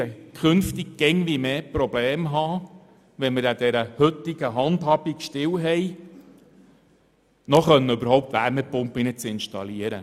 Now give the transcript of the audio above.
Wird an der heutigen Handhabung festgehalten, werde ich künftig immer mehr ein Problem haben, überhaupt noch Wärmepumpen zu installieren.